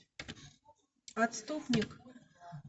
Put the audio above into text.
отступник